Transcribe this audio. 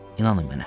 İnanın mənə.